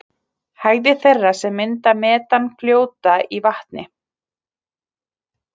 Hægðir þeirra sem mynda metan fljóta í vatni.